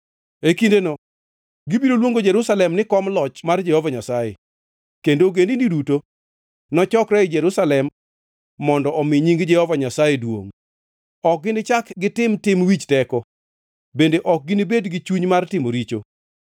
E kindeno gibiro luongo Jerusalem ni Kom Loch mar Jehova Nyasaye, kendo ogendini duto nochokre ei Jerusalem mondo omi nying Jehova Nyasaye duongʼ. Ok ginichak gitim tim wich teko, bende ok ginibed gi chuny mar timo richo.